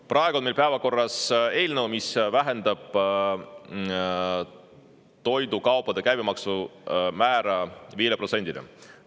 Praegu on meil päevakorras eelnõu, mis vähendab toidukaupade käibemaksu määra 5%‑le.